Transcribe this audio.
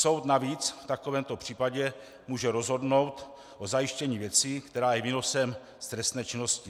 Soud navíc v takovémto případě může rozhodnout o zajištění věci, která je výnosem z trestné činnosti.